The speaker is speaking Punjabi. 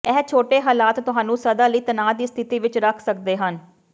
ਇਹ ਛੋਟੇ ਹਾਲਾਤ ਤੁਹਾਨੂੰ ਸਦਾ ਲਈ ਤਣਾਅ ਦੀ ਸਥਿਤੀ ਵਿਚ ਰੱਖ ਸਕਦੇ ਹਨ